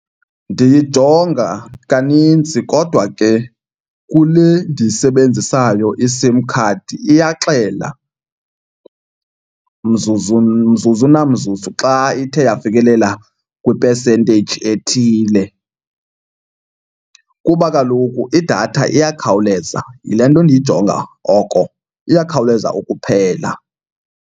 Ndiyijonga kanintsi kodwa ke kule ndiyisebenzisayo iSIM card iyaxela mzuzu mzuzu namzuzu xa ithe yafikelela kwi-percentage ethile. Kuba kaloku idatha iyakhawuleza, yile nto ndiyijonga oko, iyakhawuleza ukuphela.